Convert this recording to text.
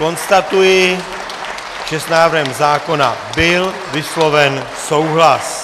Konstatuji, že s návrhem zákona byl vysloven souhlas.